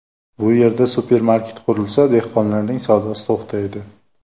Bu yerda supermarket qurilsa, dehqonlarning savdosi to‘xtaydi.